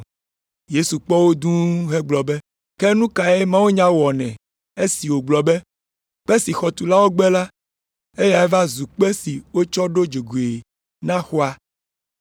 Yesu kpɔ wo dũu hegblɔ be, “Ke nu kae mawunya wɔnɛ esi wogblɔ be, “ ‘Kpe si xɔtulawo gbe la, eyae va zu kpe si wotsɔ ɖo dzogoe na xɔa’?”